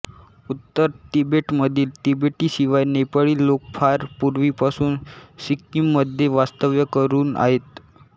उत्तर तिबेटमधील तिबेटी शिवाय नेपाळी लोक फार पूर्वीपासून सिक्कीममध्ये वास्तव्य करून आहेत